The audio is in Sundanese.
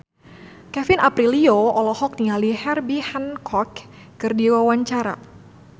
Kevin Aprilio olohok ningali Herbie Hancock keur diwawancara